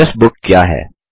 address book क्या है